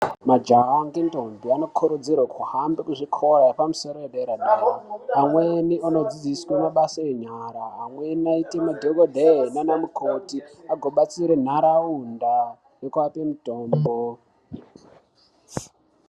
Majaha ngendombi anokurudzirwe kuhambe kuzvikoya zvemhando yepamusoro yedera-dera. Amweni anodzidziswe mabasa enyara, amweni aite madhokodheya naanamukoti agobatsire ntaraunda nekuape mitombo.